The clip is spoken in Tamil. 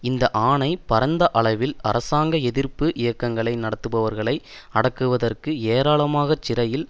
இந்த ஆணை பரந்த அளவில் அரசாங்க எதிர்ப்பு இயக்கங்களை நடத்துபவர்களை அடக்குவதற்கு ஏராளமாகச் சிறையில்